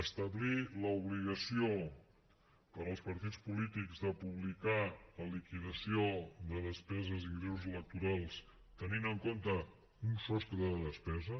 establir l’obligació per als partits polítics de publicar la liquidació de despeses ingressos electorals tenint en compte un sostre de despesa